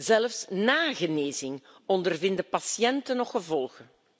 Zelfs na genezing ondervinden patiënten nog gevolgen.